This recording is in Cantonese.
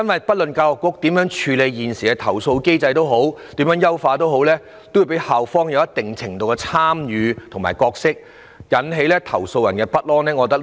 不論教育局如何處理投訴或優化現時的投訴機制，校方也會有一定程度的參與，這樣會引起投訴人的不安。